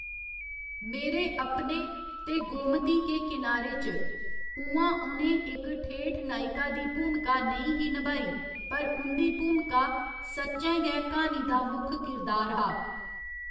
मेरे अपने ते गोमती के किनारे च, उ'आं उ'नें इक ठेठ नायका दी भूमका नेईं ही नभाई, पर उं'दी भूमका सच्चैं गै क्हानी दा मुक्ख करदार हा।